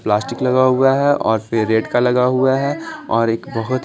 plastic लगा हुआ है और फिर रेड का लगा हुआ है और एक बहुत--